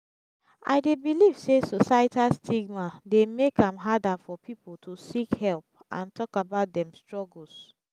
i dey believe say societal stigma dey make am harder for people to seek help and talk about dem struggles.